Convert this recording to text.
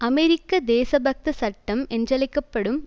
அமெரிக்க தேசபக்த சட்டம் என்றழைக்க படும்